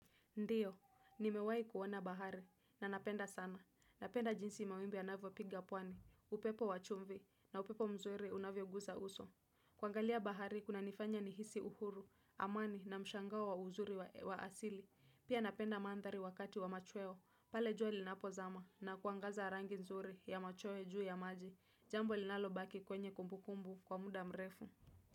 Ndiyo, ni mewahi kuoana bahari, na napenda sana. Napenda jinsi mawimbi yanavyo piga pwani, upepo wachumvi, na upepo mzuri unavyo guza uso. Kuangalia bahari, kuna nifanya ni hisi uhuru, amani na mshangao wa uzuri wa asili. Pia napenda mandhari wakati wa machweo, pale jua linapo zama, na kuangaza rangi nzuri ya machweo juu ya maji, jambo linalo baki kwenye kumbukumbu kwa muda mrefu.